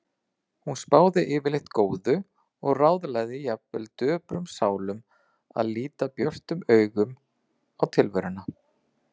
Hún spáði yfirleitt góðu og ráðlagði jafnvel döprum sálum að líta björtum augum á tilveruna.